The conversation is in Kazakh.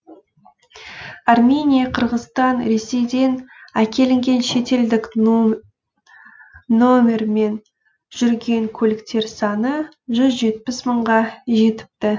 армения қырғызстан ресейден әкелінген шетелдік нөмірмен жүрген көліктер саны жүз жетпіс мыңға жетіпті